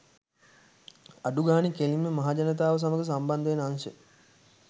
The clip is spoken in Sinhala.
අඩුගානෙ කෙලින්ම මහජනතාව සමග සම්බන්ධවෙන අංශ